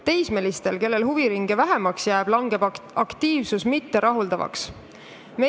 Teismelistel, kellel huviringe vähemaks jääb, langeb aktiivsus mitterahuldavale tasemele.